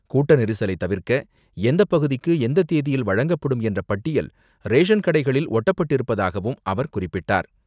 கூட்ட நெரிசலை தவிர்க்க எந்த பகுதிக்கு எந்த தேதியில் வழங்கப்படும் என்ற பட்டியல், ரேசன் கடைகளில் ஒட்டப்பட்டிருப்பதாகவும் அவர் குறிப்பிட்டார்.